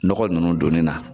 Nɔgɔ ninnu donni na